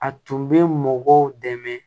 A tun bɛ mɔgɔw dɛmɛ